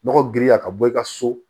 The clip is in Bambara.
Nɔgɔ giriya ka bɔ i ka so